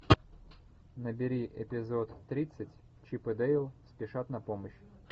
набери эпизод тридцать чип и дейл спешат на помощь